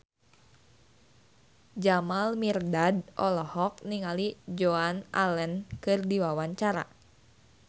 Jamal Mirdad olohok ningali Joan Allen keur diwawancara